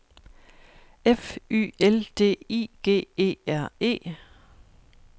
F Y L D I G E R E